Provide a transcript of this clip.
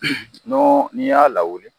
N'o n'i y'a lawuli